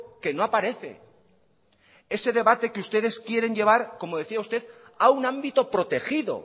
que no aparece ese debate que ustedes quieren llevar como decía usted a un ámbito protegido